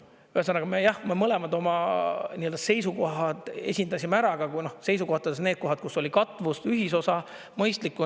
Ühesõnaga jah, me mõlemad oma seisukohad esindasime ära, aga seisukohtades need kohad, kus oli katvus, ühisosa, mõistlikku.